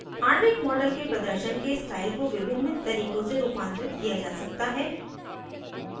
आणविक model के प्रदर्शन के स्टाइल को विभिन्न तरीकों से रूपांतरित किया जा सकता है